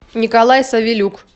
николай савелюк